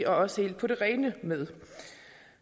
også helt på det rene med